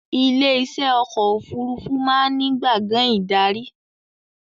Ilé iṣẹ́ ọkọ̀ òfurufú máa ń ní gbàngán ìdarí